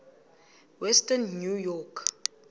western new york